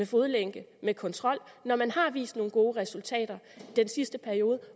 fodlænke med kontrol når man har vist nogle gode resultater den sidste periode